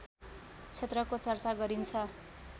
क्षेत्रको चर्चा गरिन्छ